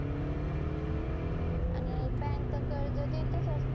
हम्म आणि bank तर कर्ज देतंचं असतं.